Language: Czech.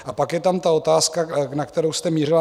A pak je tam ta otázka, na kterou jste mířila.